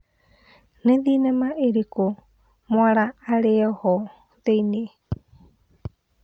nĩ thĩnema ĩrikũ mwala arĩ ho thĩinĩ